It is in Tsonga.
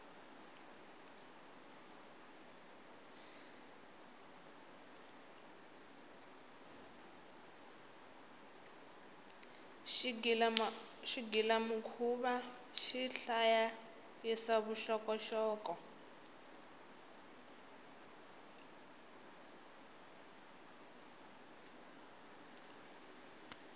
xigila mukhuva xihlayayisa vuxokoxoko